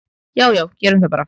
"""Já já, gerum það bara."""